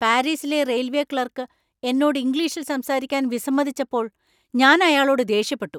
പാരീസിലെ railway clerk എന്നോട് ഇംഗ്ലീഷിൽ സംസാരിക്കാൻ വിസമ്മതിച്ചപ്പോൾ ഞാൻ അയാളോട് ദേഷ്യപ്പെട്ടു.